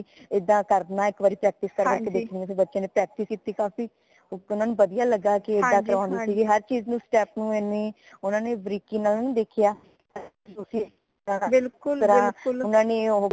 ਏਦਾਂ ਕਰਨਾ ਇਕ ਵਾਰੀ practice ਕਰਵਾ ਕੇ ਦੇਖਣੀ ਸੀ ਕਿ ਬੱਚਿਆਂ ਨੇ practise ਕੀਤੀ ਕਾਫ਼ੀ ਉਪਰੋਂ ਊਨਾ ਨੂ ਵਧੀਆ ਲਗਾ ਕਿ ਏਦਾਂ ਕਰੋਂਗੇ ਹਰ ਚੀਜ਼ ਨੂ step ਨੂ ਊਨਾ ਨੇ ਇਨੀ ਬਰੀਕੀ ਨਾਲ ਨੀ ਦੇਖਿਆ